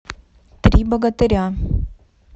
три богатыря